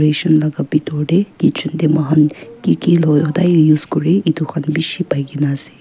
laga bitor tey kitchen tey moikhan ki ki loi hudai use kure etu khan beshi pai kena ase.